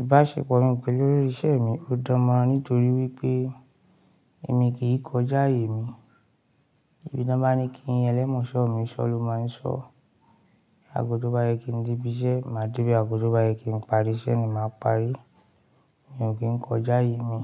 Ìbáṣepọ̀ mi pẹ̀lú olórí ìṣe mi ó dánmọ́ran nítorí wípé èmi kì í kọjá aye mi. Ibi to n bá ní kí elẹ́mọ́ṣọ́ mi sọ ló máa ń sọ. Aago to bá yẹ kí n debi iṣẹ́, ni màá debe Aginjù bá yẹ kí n parí iṣẹ́ ni màá parí. Mi ò kí ń kọjá ayè mi.